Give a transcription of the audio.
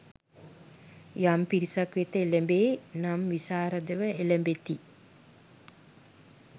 යම් පිරිසක් වෙත එළැඹේ නම් විශාරදව එළැඹෙති.